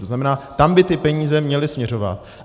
To znamená, tam by ty peníze měly směřovat.